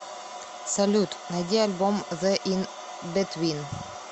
салют найди альбом зе ин битвин